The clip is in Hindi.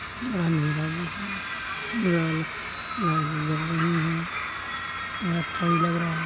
मैं अंधेरा में हूँ और लाइट भी जल रही है अच्छा भी लग रहा।